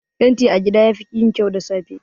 Fenti a gida yafi yin kyau da safe.